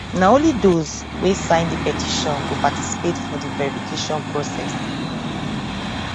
na only those wey sign di petition go participate for di verification process